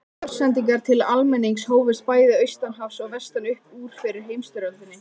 Útvarpssendingar til almennings hófust bæði austan hafs og vestan upp úr fyrri heimsstyrjöldinni.